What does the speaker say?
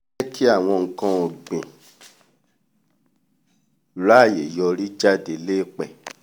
jẹ́ kí àwọn nkan-ọ̀gbìn ráàyè yọrí jáde l'éèpẹ̀